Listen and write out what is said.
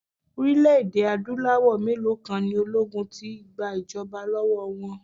Orílẹ̀-èdè Adúláwọ̀ mélòó kan ni ológun ti gba ìjọba lọ́wọ́ wọn.